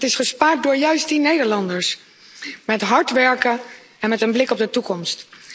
is gespaard door juist die Nederlanders, met hard werken en met een blik op de toekomst.